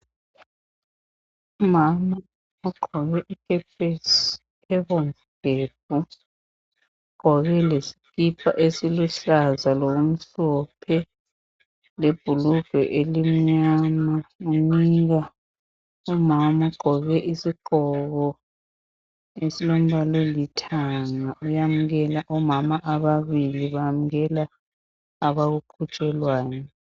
Umama ugqoke ikepesi ebomvu gebhu ugqoke lesikipa esiluhlaza lokumhlophe lebhulugwe elimnyama lomunye umama ogqoke isigqoko esilombala olithanga oyamukela omama ababili bayamukela abakuqhutshelwayo.